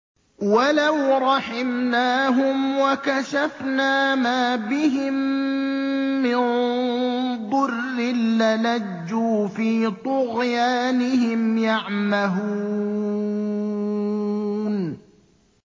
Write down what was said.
۞ وَلَوْ رَحِمْنَاهُمْ وَكَشَفْنَا مَا بِهِم مِّن ضُرٍّ لَّلَجُّوا فِي طُغْيَانِهِمْ يَعْمَهُونَ